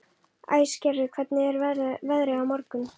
Æsgerður, hvernig er veðrið á morgun?